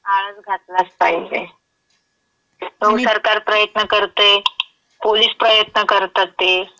आळाच घातलाच पाहिजे. तो सरकार प्रयत्न करतयं, पोलिस प्रयत्न करतात ते.